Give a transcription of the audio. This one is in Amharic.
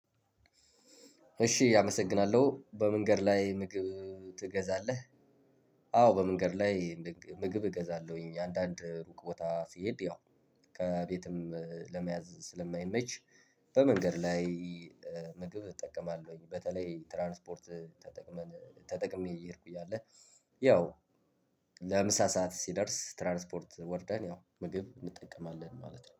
እሺ አመሰግናለሁ በመንገድ ላይ ምግብ ትገዛለህ? አዎ በመንገድ ላይ ምግብ እገዛለሁኝ። አንዳንድ ሩቅ ቦታ ስሄድ ያው ከቤትም ለመያዝ ስለማይመች። በመንገድ ላይ ምግብ እጠቀማለሁኝ። በተለይ ትራንስፖርት ተጠቅመን ተጠቅሜ እየሄድኩኝ እያለ ያው ለምሳ ሰዓት ሲደርስ ትራንስፖርት ወርደን ያው ምግብ እንጠቀማለን ማለት ነው